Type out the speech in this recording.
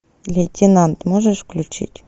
лейтенант можешь включить